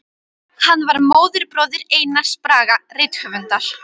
Hann var móðurbróðir Einars Braga rithöfundar.